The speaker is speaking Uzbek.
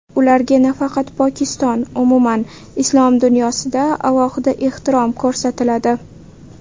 Ularga nafaqat Pokiston, umuman, islom dunyosida alohida ehtirom ko‘rsatiladi.